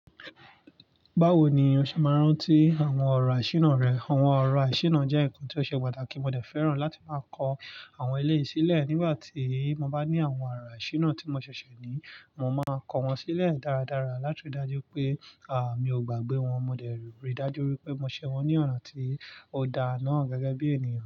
Báwo ni o ṣe máa rántí àwọn ọ̀rọ̀ àṣíran rẹ? Àwọn ọ̀rọ̀ àṣínà jẹ́ ǹkan tí ó ṣe pàtàkì. Mo dẹ̀ fẹ́ràn láti máa kọ àwọn ilé sílẹ̀ nígbà tí mo bá ní àwọn ọ̀rọ̀ àṣína tí mo ṣẹ̀ṣẹ̀ ní. Mo máa kọ wọ́n sílẹ̀ dáradára láti rí i dájú pé, à, mi ò gbàgbé wọn. Mo dẹ̀ rí i dájú pé mo ṣẹ wọ́n ní ọ̀nà tí ó daa náà gẹ́gẹ́ bí ènìyàn.